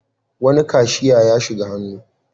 Wani kashiya ya shiga hannu.